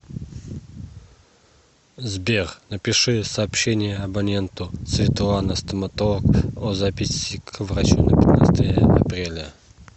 сбер напиши сообщение абоненту светлана стоматолог о записи к врачу на пятнадцатое апреля